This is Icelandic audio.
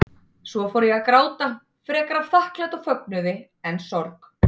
Svo fór ég að gráta, frekar af þakklæti og fögnuði en sorg.